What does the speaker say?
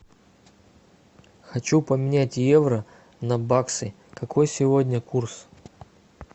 хочу поменять евро на баксы какой сегодня курс